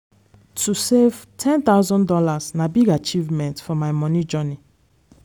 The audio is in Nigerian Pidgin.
to save one thousand dollars0 na big achievement for my moni journey.